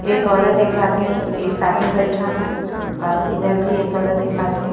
एक औरत एक आदमी एक साथ में बइठा हैं और इधर भी एक औरत एक आदमी --